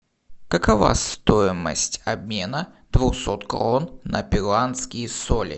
какова стоимость обмена двухсот крон на перуанские соли